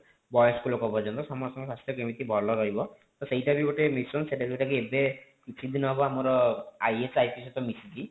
ବୟସ୍କ ଲୋକ ପର୍ଯ୍ୟନ୍ତ ସମସ୍ତଙ୍କ ସ୍ୱାସ୍ଥ୍ୟ କେମିତି ଭଲ ରହିବ ତ ସେଇଟା ବି ଗୋଟେ mission ତ ସେଇଟା ଯଉଟା କି ଏବେ ବି ଗୋଟେ କିଛି ଦିନ ଆମର ISIP ସହିତ ମିଶିଛି